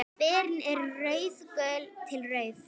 Berin eru rauðgul til rauð.